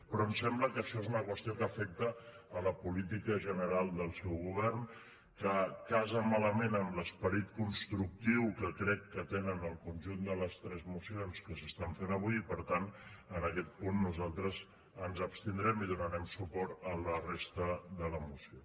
però ens sembla que això és una qüestió que afecta la política general del seu govern que casa malament amb l’esperit constructiu que crec que tenen el conjunt de les tres mocions que s’estan fent avui i per tant en aquest punt nosaltres ens abstindrem i donarem suport a la resta de la moció